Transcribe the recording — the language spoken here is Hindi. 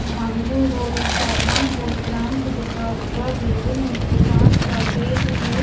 Dhangu road Pathankot branch लिखा हुआ है और नीचे काँच का गेट है।